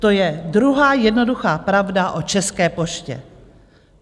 To je druhá jednoduchá pravda o České poště.